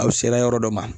Aw sela yɔrɔ dɔ ma